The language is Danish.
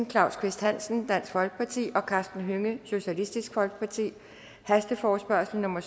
claus kvist hansen og karsten hønge hasteforespørgsel nummer